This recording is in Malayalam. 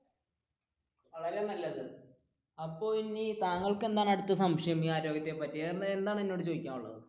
വളരെ നല്ലത് അപ്പൊ താങ്കൾക്ക് എന്താണ് ഇനി അടുത്ത സംശയം ആരോഗ്യത്തെ പറ്റി എന്താണ് എന്നോട് ചോദിക്കാനുള്ളത്?